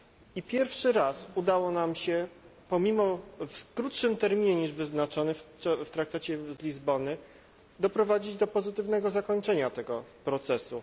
I pierwszy raz udało nam się w krótszym terminie niż wyznaczony w traktacie z Lizbony doprowadzić do pozytywnego zakończenia tego procesu.